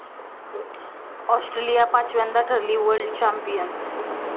Australia पाचव्यांदा ठरली 'world champion'